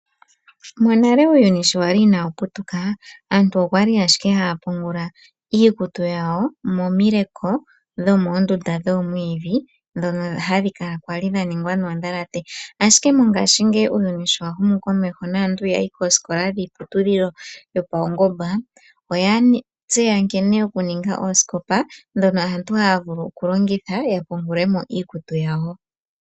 Monale uuyuni sho wali inaawu putuka aantu okwali ashike haya pungula iikutu yawo momileko dhomoondunda dhoomwiidhi ndhono hadhi kala kwali dha ningwa noondhalate ashike mongaashingeyi uuyuni sho wa humu komeho naantu yayi koosikola dhiiputudhilo yopaungomba oya tseya nkene okuninga oosikopa ndhono aantu haya vulu okulongitha ya pungule mo iikutu yawo.